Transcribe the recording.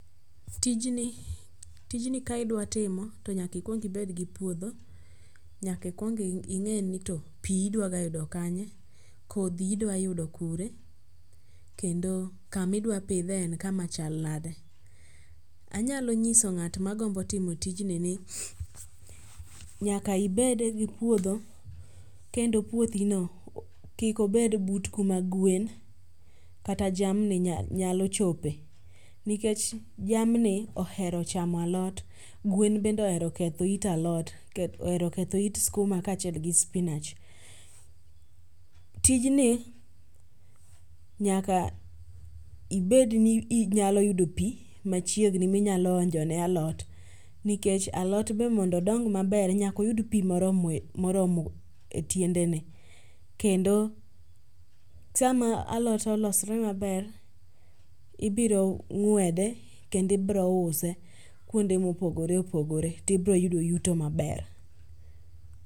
Tijni ka idwa timo to nyaka ikwong ibed gi puodho, nyaka ikwong ing'e pi idwaga yudo kanye, kodhi idwayudo kure kendo kamidwapidhe en kama chal nade. Anyalo nyiso ng'at magombo timo tijni ni nyaka ibede gi puodho kendo puothino kik obed but kuma gwen kata jamni nyalo chope nikech jamni ohero chamo alot gwen bende ohero ketho it skuma kaachiel gi spinach. Tijni nyaka ibedni inyalo yudo pi machiegni minyalo onjone alot nikech alot be mondo odong maber nyaka oyud pi moromo e tiendene kendo sama alot olosre maber, ibiro ng'wede kendo ibiro use kuonde mopogore opogore tibroyudo yuto maber.